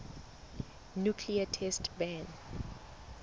nuclear test ban